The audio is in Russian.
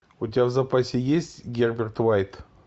у тебя в запасе есть герберт уайт